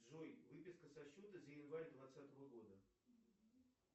джой выписка со счета за январь двадцатого года